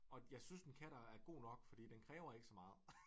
Og jeg synes en kat er god nok fordi den kræver ikke så meget